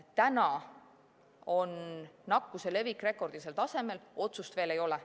Täna on nakkuse levik rekordilisel tasemel, aga otsust veel ei ole.